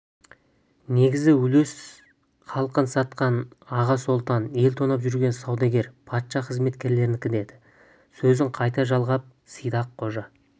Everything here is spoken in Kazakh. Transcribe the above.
негізгі үлес халқын сатқан аға сұлтан ел тонап жүрген саудагер патша қызметкерлерінікі деді сөзін қайта жалғап сидақ қожа